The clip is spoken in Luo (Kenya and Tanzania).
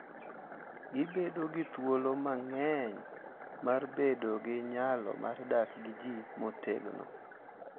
Gibedo gi thuolo mang’eny mar bedo gi nyalo mar dak gi ji motegno,